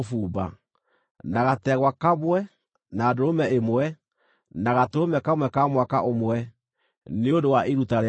na gategwa kamwe, na ndũrũme ĩmwe, na gatũrũme kamwe ka mwaka ũmwe, nĩ ũndũ wa iruta rĩa njino;